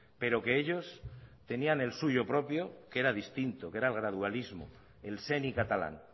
pero que ellos tenían el suyo propio que era distinto que era el gradualismo el seny catalán